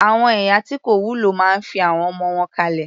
Àwọn ìyá tí kò wúlò máa fi àwọn ọmọ wọn kalẹ̀.